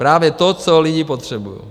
Právě to, co lidi potřebují.